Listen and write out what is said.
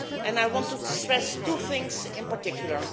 I want to stress two things in particular.